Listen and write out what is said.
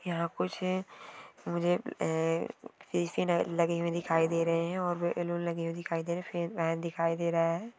यहाँ कुछ मुझे अ लगी हुई दिखाई दे रही है और बैलून लगे हुए दिखाई दे रहे है फेन दिखाई दे रहा है।